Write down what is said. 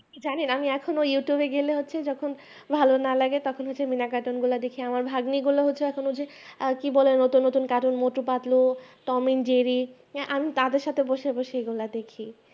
আপনি কি জানেন এখন আমি এখনো youtube গেলে যখন ভালো না লাগে তখন হচ্ছে মিনা cartoon গুলা দেখি আমার ভাগ্নি গুলো হচ্ছে এখনো যে কি বলে নতুন নতুন cartoon motu patlu-tom and jerry আমি তাদের সাথে বসে বসে এগুলো দেখি